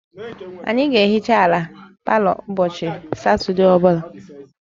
Anyị ga-ehicha ala palọ anyị ụbọchị Satọde ọ bụla